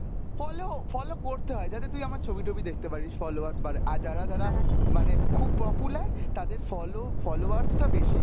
follow, follow করতে হয়, যাতে তুই আমার ছবি-টবি দেখতে পারিস, followers বাড়ে, আর যারা যারা মানে খুব popular তাদের follow followers টা বেশি